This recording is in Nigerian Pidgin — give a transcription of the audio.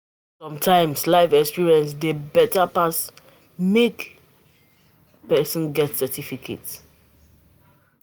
Sometimes life experience dey better pass make person get certificate